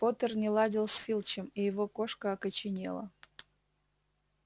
поттер не ладил с филчем и его кошка окоченела